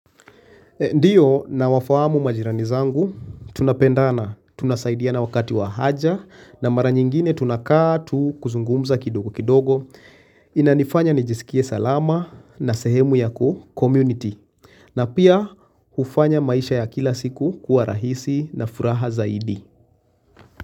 Ndiyo nawafahamu majirani zangu, tunapendana, tunasaidiana wakati wa haja na mara nyingine tunakaa tu kuzungumza kidogo kidogo. Inanifanya nijisikie salama na sehemu ya kuhu, community. Na pia hufanya maisha ya kila siku kuwa rahisi na furaha zaidi.